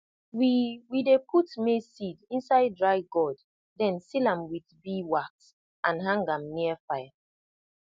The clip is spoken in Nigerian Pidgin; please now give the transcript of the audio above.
we we dey put maize seed inside dry gourd then seal am with beeswax and hang am near fire